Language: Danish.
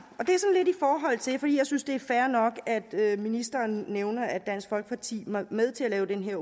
jeg synes det er fair nok at ministeren nævner at dansk folkeparti var med til at lave den her